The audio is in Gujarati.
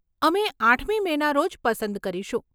અમે આઠમી મેના રોજ પસંદ કરીશું.